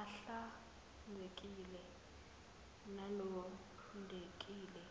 ahlanzekile nalondekile